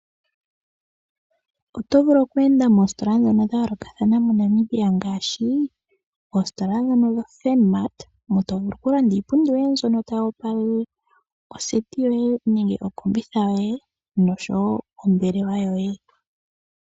Oto vulu oku enda moositola ndhono dha yolokathana moNamibia ngaashi oositola dhono dhoFurnmart, mo to vulu okulanda iipundi yoye mbyono tayi opalele oseti yoye nenge okombitha yoye nosho wo ombelewa yoye.